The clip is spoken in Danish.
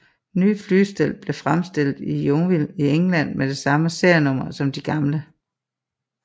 Nye flystel blev fremstillet i Yeovil i England med samme serienummer som de gamle